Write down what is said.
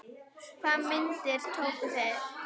Hvaða myndir tóku þeir?